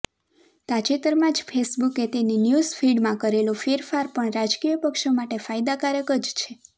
તાજેતરમાં જ ફેસબુકે તેની ન્યૂઝ ફીડમાં કરેલો ફેરફાર પણ રાજકીય પક્ષો માટે ફાયદાકારક જ છે